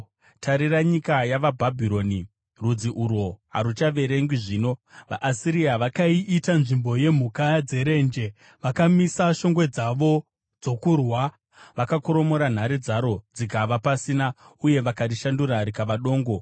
Tarira nyika yavaBhabhironi, rudzi urwo haruchaverengwi zvino! VaAsiria vakaiita nzvimbo yemhuka dzerenje; vakamisa shongwe dzavo dzokurwa, vakakoromora nhare dzaro dzikava pasina, uye vakarishandura rikava dongo.